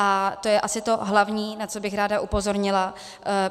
A to je asi to hlavní, na co bych ráda upozornila.